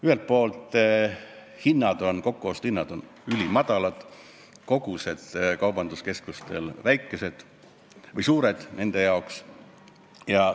Ühelt poolt on kokkuostuhinnad ülimadalad, aga kogused kaubanduskeskustele on nende jaoks suured.